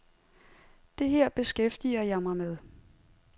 Det her beskæftiger jeg mig med.